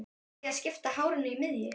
Ætti ég að skipta hárinu í miðju?